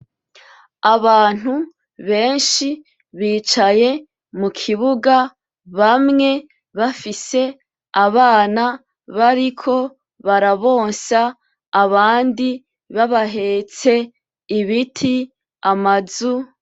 Abantu beshi bicaye mukibuga bamwe bafise abana bariko barabonsa abandi baba hetse, ibiti, amazu,